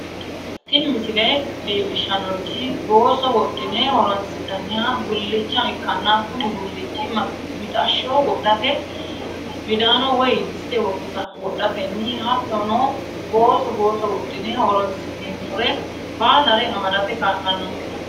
tini misile leellishshannorichi booso wodhine horoonsi'nanniha gullicha ikkanna kuni gullichi mixashsho wodhate midaano woy diste wodhatenni hattono booso booso wodhine horoonsi'neemmore baalare amadate kaa'lannonke.